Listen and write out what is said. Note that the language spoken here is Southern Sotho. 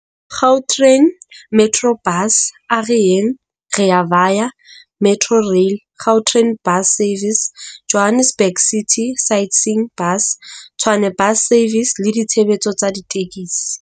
Gautrain, Metrobus, A Re Yeng, Rea Vaya, Metrorail, Gau train Bus Services, Johannesburg City Sightseeing Bus, Tshwane Bus Services le ditshebeletso tsa ditekesi.